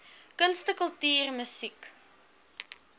kunste kultuur musiek